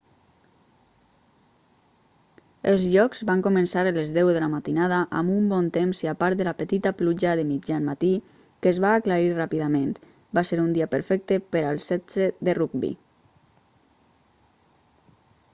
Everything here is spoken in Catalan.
els jocs van començar a les 10:00 a.m. amb un bon temps i a part de la petita pluja de mitjan matí que es va aclarir ràpidament va ser un dia perfecte per al 7è de rugbi